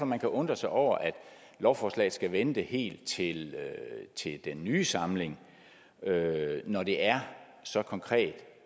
man kunne undre sig over at lovforslaget skal vente helt helt til den nye samling når det er så konkret